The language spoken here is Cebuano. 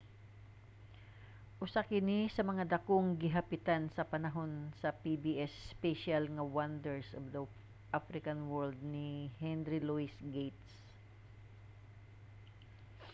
usa kini sa mga dakong gihapitan sa panahon sa pbs special nga wonders of the african world ni henry louis gates